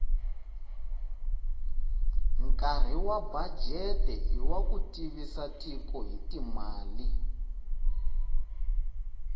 nkari wabudget iwakutivisatiko hhitimale